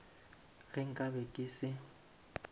ge nka be ke se